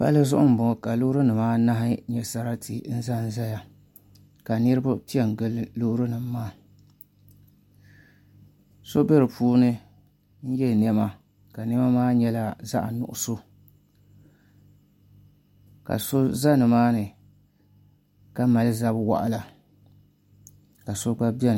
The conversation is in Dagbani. Palli zuɣu nbɔŋɔ ka loori nim anahi nyɛ sarati n dondoya ka niraba piɛ n gili loori nim maa so bɛ di puuni n yɛ niɛma ka niɛma maa nyɛla zaɣ nuɣso ka so ʒɛ nimaani ka mali zabi waɣala ka so gba biɛni